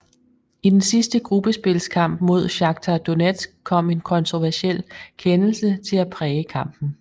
I den sidste gruppespilskamp mod Shakhtar Donetsk kom en kontroversiel kendelse til at præge kampen